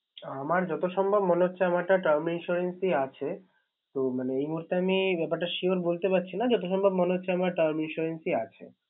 আমার যত সম্ভব মনে হচ্ছে আমারটা Term insurance ই আছে। এ মুহুর্তে আমি ব্যাপারটা sure বলতে পারছি না। যত সম্ভব মনে হচ্ছে আমার term insurance আছে।